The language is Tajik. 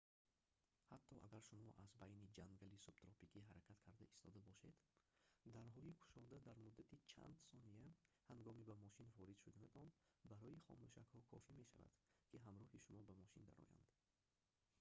ҳатто агар шумо аз байни ҷангали субтропикӣ ҳаракат карда истода бошед дарҳои кушода дар муддати чанд сония ҳангоми ба мошин ворид шуданатон барои хомӯшакҳо кофӣ мешавад ки ҳамроҳи шумо ба мошин дароянд